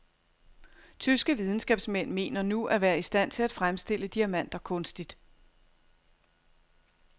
Tyske videnskabsmænd mener nu at være i stand til at fremstille diamanter kunstigt.